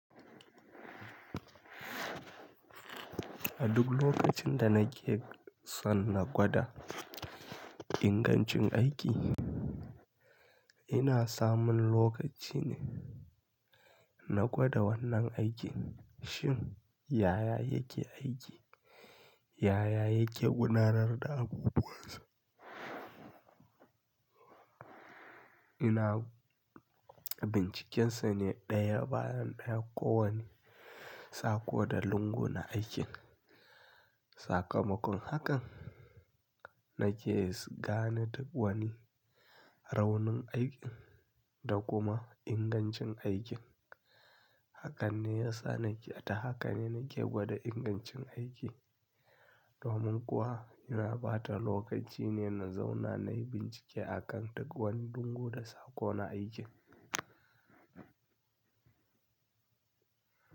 A duk lokacin da na ke son na gwada ingancin aiki, ina samun lokaci ne na gwada wannan aikin. Shin, yaya yake aiki? Yaya yake gudanar da abubuwansa? Ina bincikinsa ne ɗaya bayan ɗaya, ko wane saƙo da lungu na aikin. Sakamakon hakan, na ke gane duk wani raunin aikin da kuma ingancin aikin. Hakan ne ya sa na ke, ta haka ne na ke gwada ingancin aiki. Domin kuwa ina bata lokaci ne na zauna na yi bincike a kan duk wani lungu da sako na aikin.